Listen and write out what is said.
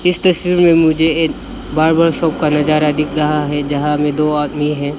इस तस्वीर में मुझे एक बार्बर शॉप का नजारा दिख रहा है जहां में दो आदमी हैं।